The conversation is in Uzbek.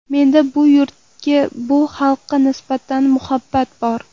Menda bu yurtga, bu xalqqa nisbatan muhabbat bor.